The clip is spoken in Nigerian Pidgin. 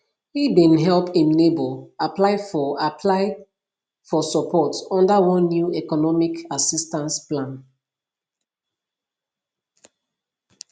e bin help im neighbor apply for apply for support under one new economic assistance plan